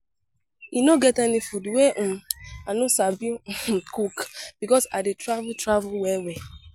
E no get any food wey um I no sabi um cook because I dey travel travel well-well.